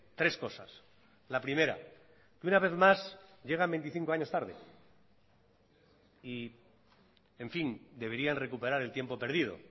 tres cosas la primera que una vez más llegan veinticinco años tarde y en fin deberían recuperar el tiempo perdido